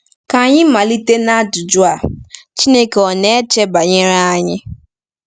Ka anyị malite n’ajụjụ a: Chineke ọ̀ na-eche banyere anyị?